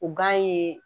O gan ye